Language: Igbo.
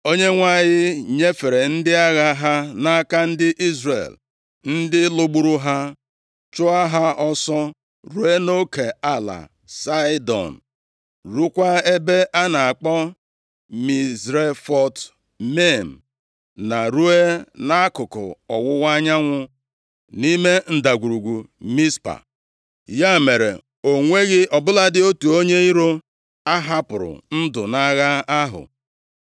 Onyenwe anyị nyefere ndị agha ha nʼaka ndị Izrel, ndị lụgburu ha, chụọ ha ọsọ ruo nʼoke ala Saịdọn, ruokwa ebe a na-akpọ Mizrefot Maim, na ruo nʼakụkụ ọwụwa anyanwụ, nʼime Ndagwurugwu Mizpa. Ya mere, o nweghị ọ bụladị otu onye iro a hapụrụ ndụ nʼagha ahụ.